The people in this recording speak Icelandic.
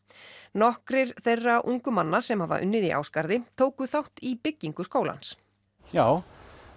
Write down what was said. nokkrir þeirra ungu manna sem hafa unnið í Ásgarði tóku þátt í byggingu skólans já